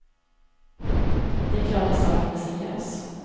Det är klart att saken är seriös.